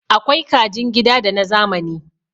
Akwai kajin gida da na zamani